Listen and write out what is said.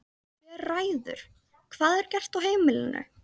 Hver ræður hvað er gert á heimilinu?